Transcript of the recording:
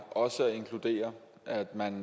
at inkludere at man